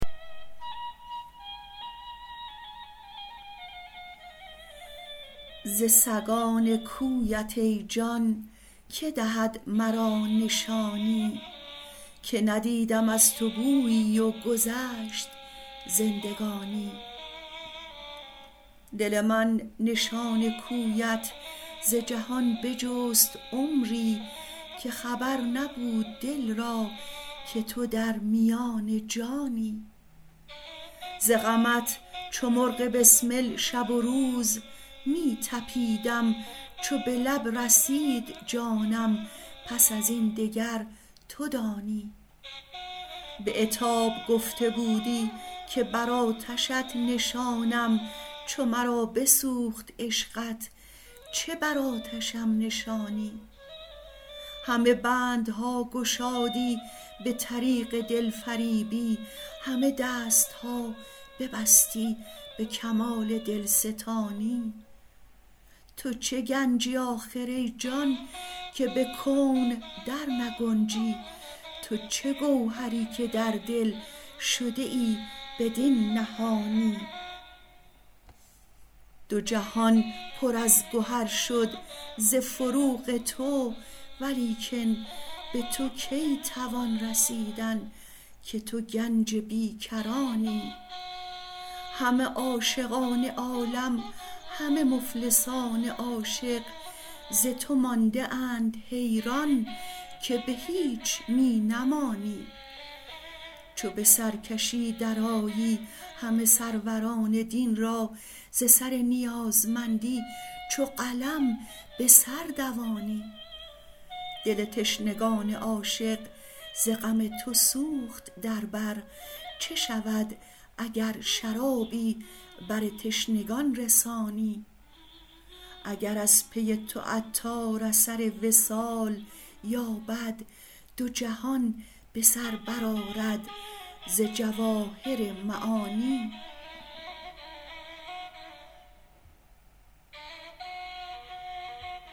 ز سگان کویت ای جان که دهد مرا نشانی که ندیدم از تو بویی و گذشت زندگانی دل من نشان کویت ز جهان بجست عمری که خبر نبود دل را که تو در میان جانی ز غمت چو مرغ بسمل شب و روز می طپیدم چو به لب رسید جانم پس ازین دگر تو دانی به عتاب گفته بودی که برآتشت نشانم چو مرا بسوخت عشقت چه بر آتشم نشانی همه بندها گشادی به طریق دلفریبی همه دست ها ببستی به کمال دلستانی تو چه گنجی آخر ای جان که به کون در نگنجی تو چه گوهری که در دل شده ای بدین نهانی دو جهان پر از گهر شد ز فروغ تو ولیکن به تو کی توان رسیدن که تو گنج بی کرانی همه عاشقان عالم همه مفلسان عاشق ز تو مانده اند حیران که به هیچ می نمانی چو به سر کشی در آیی همه سروران دین را ز سر نیازمندی چو قلم به سر دوانی دل تشنگان عاشق ز غم تو سوخت در بر چه شود اگر شرابی بر تشنگان رسانی اگر از پی تو عطار اثر وصال یابد دو جهان به سر برآرد ز جواهر معانی